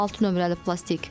Altı nömrəli plastik.